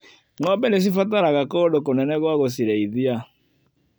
Ngombe nĩcibataraga kũndũ kũnene gwa gũcirĩithia.